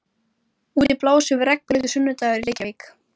Vera rödd hrópandans þegar svo ber undir.